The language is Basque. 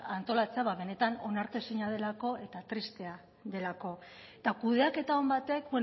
antolatzea benetan onartezina delako eta tristea delako eta kudeaketa on batek